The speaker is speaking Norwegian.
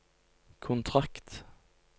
kontrakt